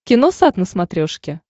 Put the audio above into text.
киносат на смотрешке